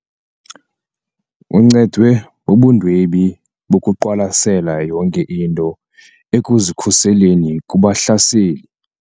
Uncedwe bubundwebi bokuqwalasela yonke into ekuzikhuseleni kubahlaseli.